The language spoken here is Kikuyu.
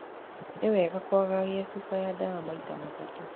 Nĩ wega kwagagia cuba ya ndawa maita matatũ.